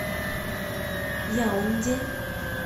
яунде